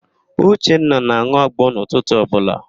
Uchenna na-an̄ụ agbo n'ụtụtụ ọbụla